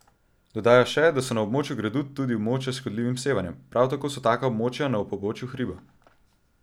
Dodaja še, da so na območju gradu tudi območja s škodljivim sevanjem, prav tako so taka območja na pobočju hriba.